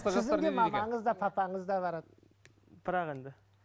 сіздің де мамаңыз да папаңыз да барады бірақ енді